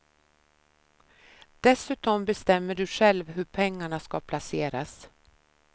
Dessutom bestämmer du själv hur pengarna ska placeras.